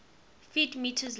ft m long